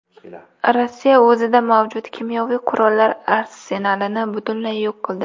Rossiya o‘zida mavjud kimyoviy qurollar arsenalini butunlay yo‘q qildi.